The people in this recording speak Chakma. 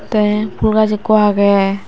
te pul gaj ekko agey.